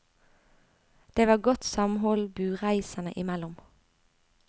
Det var godt samhold bureiserne imellom.